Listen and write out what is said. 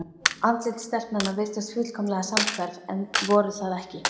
Andlit stelpnanna virtust fullkomlega samhverf en voru það ekki.